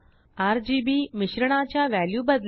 RGBमिश्रणाच्या value बदला